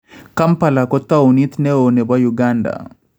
Kampala ko tawuniit neo nebo Uganda